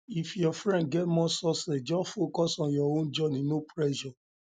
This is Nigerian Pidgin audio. if your friend get more success just just focus on your own journey no pressure